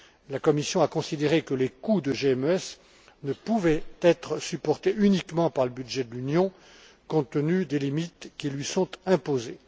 La Commission a considéré que les coûts de GMES ne pouvaient être supportés uniquement par le budget de l'Union, compte tenu des limites qui lui sont imposées.